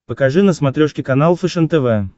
покажи на смотрешке канал фэшен тв